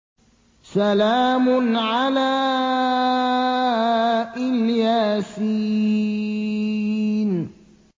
سَلَامٌ عَلَىٰ إِلْ يَاسِينَ